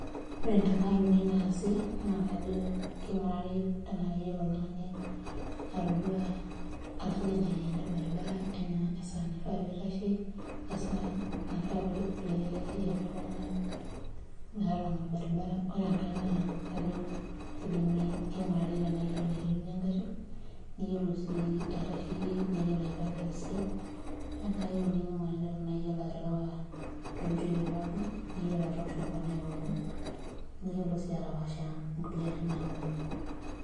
Ore ntemat uni naasi naa kajo kingurari tenaa keyiolo oltungani atusuja ncheriani orbaribara enaa esaa naifaa pee itashe, enaa esaa naifaa pee ereshu iltunganak metalanga orbaribara. Ore enkae naa kingurari tenaa iyiolo aitumiyia engari ,niyiolo sii aitasheyie niyiolo aipaaka esidai .Ore enkae euni naa kingurari tenaa iyiolo aterewa toonchotoi pookin niyiolo atoosho nkonai pookin niyiolo sii atapaasha kulie arin naaponu.